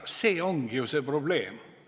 See ongi ju see probleem.